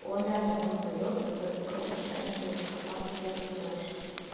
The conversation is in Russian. он реально там поёт вот это всё он там реально поёт просто там ты хер разберёшь